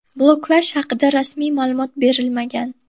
Bloklash haqida rasmiy ma’lumot berilmagan.